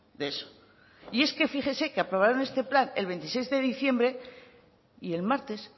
de eso y es que fíjese que aprobaron este plan el veintiséis de diciembre y el martes